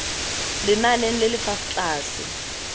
lenaneng le le fa tlase